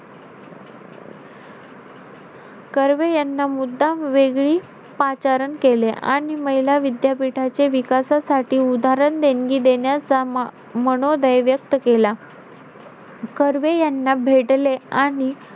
कर्वे यांना मुद्दाम वेगळी पाचारण केले. आणि महिला विद्यापीठाचे विकासासाठी उदाहरण देणगी देण्याचा मनोदय व्यक्त केला. कर्वे यांना भेटले आणि,